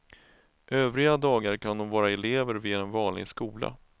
Övriga dagar kan de vara elever vid en vanlig skola.